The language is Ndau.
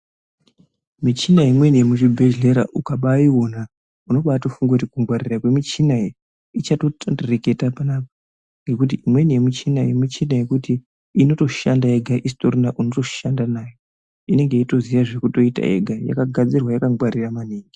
Michina imweni yemuzvibhedhlera ukabaiona unobatofunga kuti kungwarira kwemichina iyi ichatondireketa panapa ngekuti imweni yemichina iyi michina yekuti inotoshanda yega isitorina unotoshanda nayo. Inenge yeitoziya zvekutoita yega. Yakagadzirwa yakangwarira maningi.